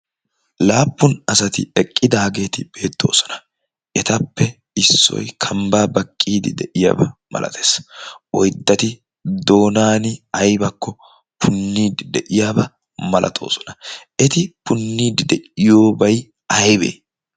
laappun asati eqqidaageeti beettoosona etappe issoy kambbaa baqqiidi de'iyaabaa malatees oiddati doonaani aibakko punniidi de'iyaabaa malatoosona eti punniidi de'iyoobay aybee?